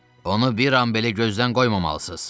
Onu bir an belə gözdən qoymamalısınız.